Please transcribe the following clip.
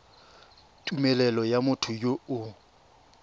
tumelelo ya motho yo o